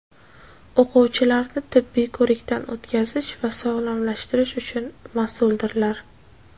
o‘quvchilarni tibbiy ko‘rikdan o‘tkazish va sog‘lomlashtirish uchun masuldirlar.